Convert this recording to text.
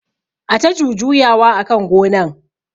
Ata jujuya wa akan gonan